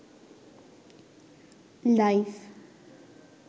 life